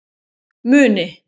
Muni